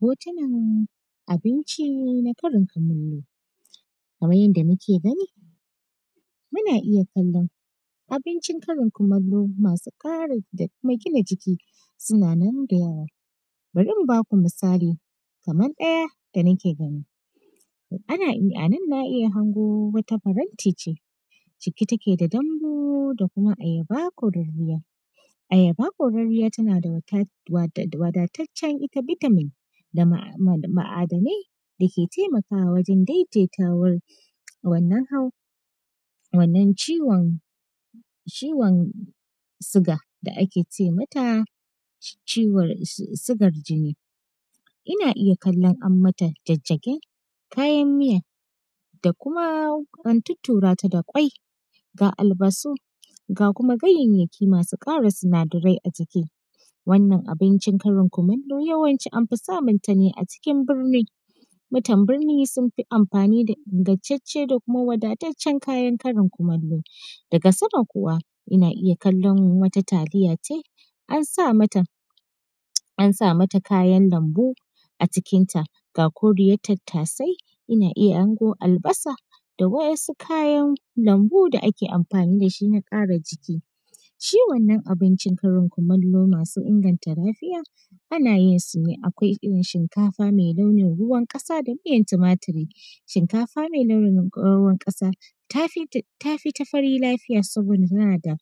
Hotunan abinci na Karin kumallo, kamar yadda muke gani muna iya kalon abincin Karin kumallo masu kara da kuma gina jiki suna nan da bari mu baku misali kamar ɗaya da nake gani, anan na iya hango wata faranti ce cike take da dambu da ayaba ko da miya, ayaba kwararriya tana da wadatacciya ita vitamin da ma’adanai dake taimakawa wajen daidaitawan wannan hawan wannan ciwon siga da ake ce mata sigar jini ina iya kallan am mata jajjagen kayan miya da kuma an tuttura ta da kwai ga albasu ga kuma ganyayyaki masu kara sina darai a jiki, wannan abincin Karin kumallo an fi samun ta ne a cikin birni, mutan birni sun fi amfani da ingantace da kuma wadatacen kayan Karin kumallo, daga sama kuma ina iya kallon wata taliya ce an sa mata kayan lambu a cikinta ga koriyan tattasai ina iya hango albasa da waɗansu kayan lambu da ake amfani da shin a kara jiki, shi wannan abincin Karin kumallo masu inganta lafiya ana yin su ne akwai irin shinkafa mai launin ruwan kasa da miyan tumaturi shinkafa mai launin ruwan kasa tafi ta fari lafiya saboda tana da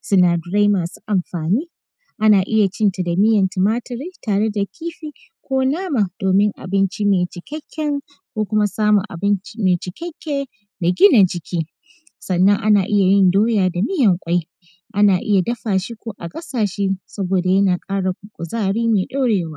sinadarai masu amfani ana iya cin ta da miyan tumaturi tare da kifi ko nama domin abinci mai cikakken ko kuma samun abinci mai gina jiki, sannan ana iya yin doya da miyan kwai ana iya dafa shi ko a gasa shi saboda yana kara kuzari mai ɗorewa.